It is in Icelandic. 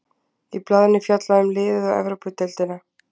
Í blaðinu er fjallið um liðið og Evrópudeildina.